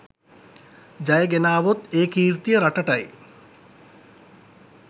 ජය ගෙනාවොත් ඒ කීර්තිය රටටයි.